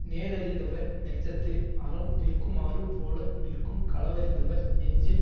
நேரறிந்தவர் நெஞ்சத்து அறம் நிற்குமாறுபோல நிற்கும் களவறிந்தவர் நெஞ்சில்